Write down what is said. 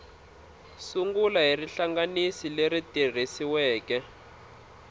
sungula hi rihlanganisi leri tikisiweke